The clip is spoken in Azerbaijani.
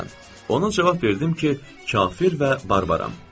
Onun cavab verdim ki, kafir və barbaram.